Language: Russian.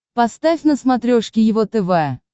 поставь на смотрешке его тв